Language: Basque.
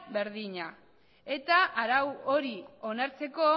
berdina eta arau hori onartzeko